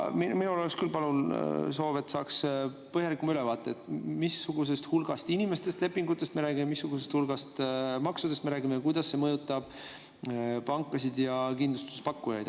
Minul oleks küll soov, et saaks põhjalikuma ülevaate, missugusest hulgast inimestest ja lepingutest me räägime, missugusest hulgast maksudest me räägime ja kuidas see mõjutab pankasid ja kindlustuse pakkujaid.